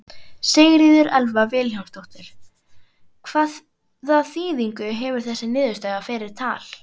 Sigríður Elva Vilhjálmsdóttir: Hvaða þýðingu hefur þessi niðurstaða fyrir Tal?